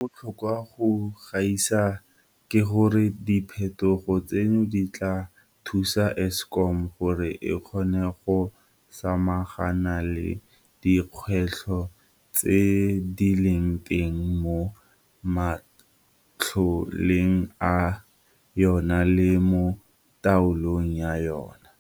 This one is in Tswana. Se se botlhokwa go gaisa ke gore diphetogo tseno di tla thusa Eskom gore e kgone go samagana le dikgwetlho tse di leng teng mo matloleng a yona le mo taolong ya yona.